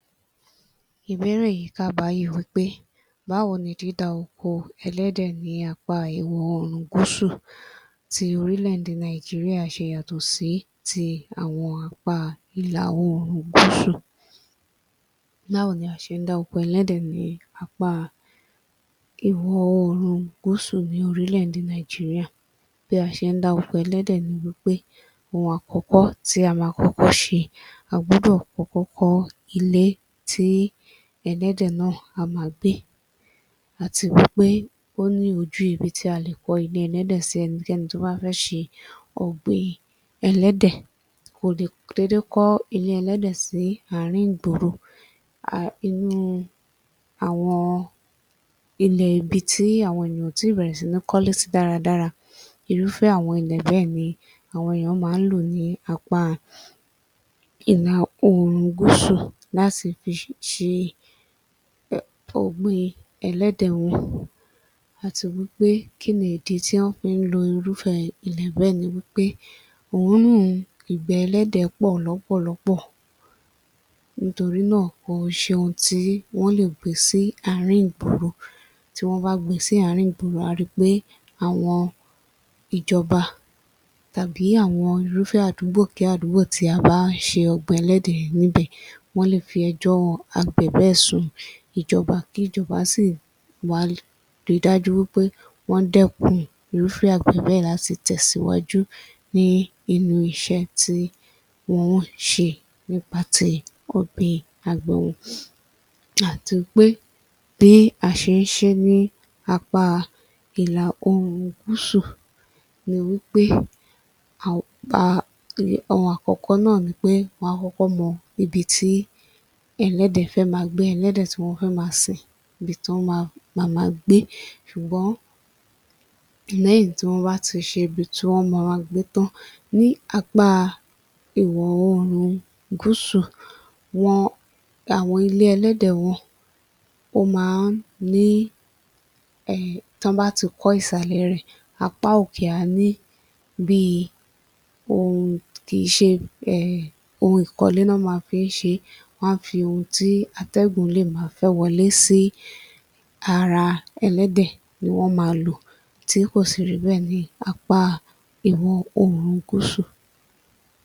Ìbéèrè yìí kà báyìí wí pé báwo ni dídá oko ẹlẹ́dẹ̀ ní apá ìwọ̀ oòrùn gúúsù ti orílẹ̀-èdè Nàìjíríà ṣe yàtọ̀ sí ti àwọn apá ilà oòrùn gúúsù? Báwo ni a ṣe ń dá oko ẹlẹ́dẹ̀ ní apá ìwọ̀ oòrùn gúúsù ní orílẹ̀-èdè Nàìjíríà? Bí a ṣe ń dá oko ẹlẹ́dẹ̀ ni wí pé ohun àkọ́kọ́ tí a máa kọ́kọ́ ṣe, a gbọdọ̀ kọ́kọ́ kọ́ ilé tí ẹlẹ́dẹ̀ náà á máa gbé àti wí pé ó ní ojú ibi tí a lè kọ́ ilé ẹlẹ́dẹ̀ sí. Ẹnikẹ́ni tó bá fẹ́ ṣe ọ̀gbìn ẹlẹ́dẹ̀, kò lè dédé kọ́ ilé ẹlẹ́dẹ̀ sí àárín ìgboro. [A] Inú àwọn ilẹ̀ ibi tí àwọn ènìyàn ò tí ì bẹ̀rẹ̀ sí ní kọ́lé sí dáadáa irúfẹ́ àwọn ilé bẹ́ẹ̀ ni àwọn èèyàn máa ń lò ní apá [i…] ilà oòrùn gúúsú láti fi ṣe ọ̀gbìn ẹlẹ́dẹ̀ wọn àti wí pé kí ni ìdí tí wọ́n fi ń lo irúfẹ́ ilẹ̀ bẹ́ẹ̀ ni wí pé òórùn ìgbẹ́ ẹlẹ́dẹ̀ pọ̀ lọ́pọ̀lọpọ̀ nítorí náà kò ń ṣe ohun tí wọ́n lè gbé sí àárín ìgboro. Tí wọ́n bá gbe sí àárín ìgboro à á ri pé àwọn ìjọba tàbí àwọn irúfẹ́ àdúgbò kí àdúgbò tí a bá ṣe ọ̀gbìn ẹlẹ́dẹ̀ yẹn ní ibẹ̀, wọ́n lè fi ẹjọ́ àgbẹ̀ bẹ́ẹ̀ sun ìjọba kí ìjọba sì wá ri dájú wí pé wọ́n dẹ́kun irúfẹ́ àgbẹ̀ bẹ́ẹ̀ láti tẹ̀síwájú ní inú iṣẹ́ tí wọ́n ń ṣe nípa ti ọ̀gbìn àti pé bí a ṣe ń ṣe é ní apá ilà oòrùn gúúsù ni wí pé [a…a..] ohun àkọ́kọ́ náà ni pé wọ́n á kọ́kọ́ mọ ibi tí ẹlẹ́dẹ̀ fẹ́ máa gbé, ẹlẹ́dẹ̀ tí wọ́n fẹ́ máa sìn, ibi tí ó ma máa [ma] gbé ṣùgbọ́n lẹ́yìn tí wọ́n bá ti ṣe ibi tí wọ́n ma máa gbé tán ní apá iwọ̀ oòrùn gúúsù [wọn] àwọn ilé ẹlẹ́dẹ̀ wọn ó máa ń ní [emn] tí wọ́n bá ti kọ́ ìsàlẹ̀ rẹ̀ apá òkè a ní bi [hmn] kì í ṣe [emn] ohun ìkọ́lé ni wọ́n máa fi ń ṣe é, wọn á fi ohun tí atẹ́gùn lè máa fẹ́ wọlé sí ara ẹlẹ́dẹ̀ ni wọ́n máa lò tí kò sì rí bẹ́ẹ̀ ní apá ìwọ̀ oòrùn gúúsù.